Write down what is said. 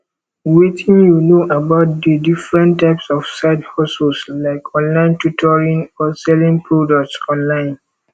wetin you know about di different types of sidehustles like online tutoring or selling products online